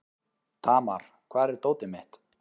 Tamar, hvar er dótið mitt?